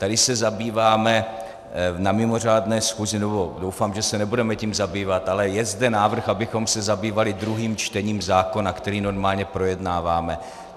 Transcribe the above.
Tady se zabýváme na mimořádné schůzi, nebo doufám, že se nebudeme tím zabývat, ale je zde návrh, abychom se zabývali druhým čtením zákona, který normálně projednáváme.